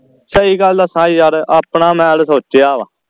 ਸਹੀ ਗੱਲ ਦਸਾ ਯਾਰ ਆਪਣਾ ਮੈਂ ਤੇ ਸੋਚਿਆ ਵਾ